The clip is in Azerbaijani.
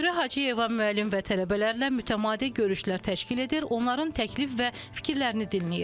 Dürrə Hacıyeva müəllim və tələbələrlə mütəmadi görüşlər təşkil edir, onların təklif və fikirlərini dinləyir.